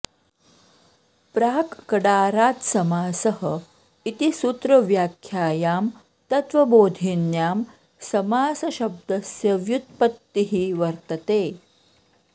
प्राक् कडारात् समासः इति सूत्रव्याख्यायां तत्त्वबोधिन्यां समासशब्दस्य व्युत्पत्तिः वर्तते